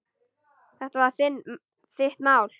Þetta er þitt mál.